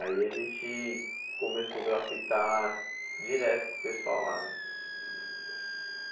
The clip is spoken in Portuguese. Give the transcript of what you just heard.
Aí a gente começou a grafitar direto com o pessoal lá, né?